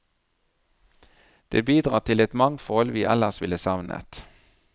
Det bidrar til et mangfold vi ellers ville savnet.